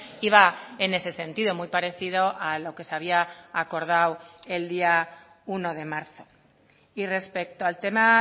iba en ese sentido muy parecido a lo que se había acordado el día uno de marzo y respecto al tema